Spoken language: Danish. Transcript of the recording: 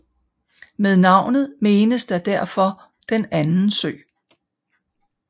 Med navnet menes der derfor Den anden sø